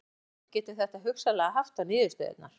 Hvaða áhrif getur þetta hugsanlega haft á niðurstöðurnar?